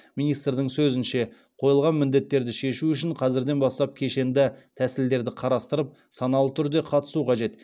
министрдің сөзінше қойылған міндеттерді шешу үшін қазірден бастап кешенді тәсілдерді қарастырып саналы түрде қатысу қажет